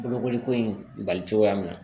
Bolokoli ko in bali cogoya mina